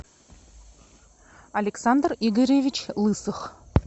александр игоревич лысых